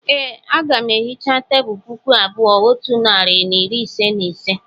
e, Aga m ehicha tebụl puku abụọ otu narị na iri ise na ise